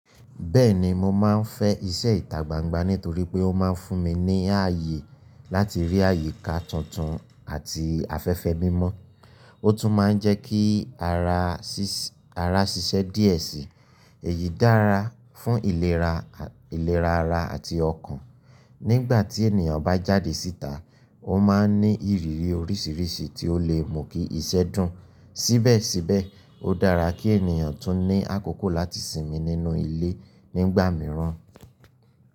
Bẹ́ẹ̀ni, mo máa ń fẹ́ iṣẹ́ ìtà gbangba nítorí pé ó máa ń fún mi ní ààyè láti rí àyíká tuntun àti afẹ́fẹ́ mímọ́. Ó tún máa ń jẹ́ kí ara ṣiṣẹ́ díẹ̀ sí. Èyí dára fún ìlera ara àti ọkàn. Nígbà tí ènìyàn bá jáde síta, ó máa ń ní ìrírí oríṣiríṣi tí ó le mú kí iṣẹ́ dùn. Síbẹ̀síbẹ̀, ó dára kí ènìyàn tún ní àkókò láti sinmi nínú ilé nígbà mìíràn.